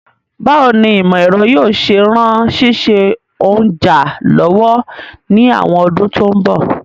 Báwoni ìmọ̀ èro yio se ran síse ounja lọ́wọ́ ni àwon odún to n bọ̀